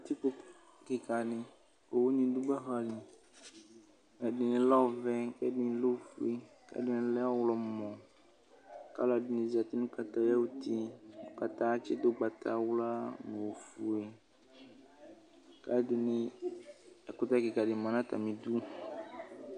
Kǝtikpo kɩka dɩ,owu nɩ dʋ gbaka li:ɛdɩnɩ lɛ ɔvɛ, ɛdɩnɩ lɛ ofue, ɛdɩnɩ lɛ ɔɣlɔmɔKalʋ ɛdɩnɩ zati nʋ kataya ayuti, kataya atsɩdʋ ʋgbawla, ofue, kɛdɩnɩ ,ɛkʋtɛ kɩka dɩ ma natamidu